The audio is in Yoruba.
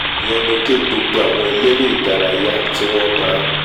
ìyẹn ni pé gbogbo àwọn eléré ìdárayá tí wọ́n máa